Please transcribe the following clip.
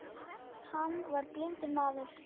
Hann var blindur maður.